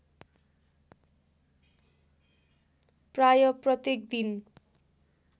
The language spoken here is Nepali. प्राय प्रत्येक दिन